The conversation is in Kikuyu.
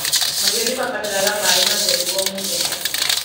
Mahiũ nĩmabataraga maĩ matheru o mũthenya.